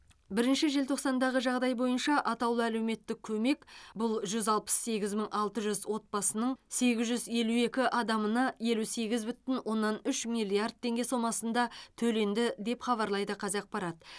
бірінші желтоқсандағы жағдай бойынша атаулы әлеуметтік көмек бұл жүз алпыс сегіз мың алты жүз отбасының сегіз жүз елу екі адамына елу сегіз бүтін оннан үш миллиард теңге сомасында төленді деп хабарлайды қазақпарат